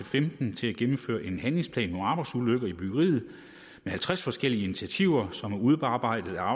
femten til at gennemføre en handlingsplan mod arbejdsulykker i byggeriet med halvtreds forskellige initiativer som er udarbejdet af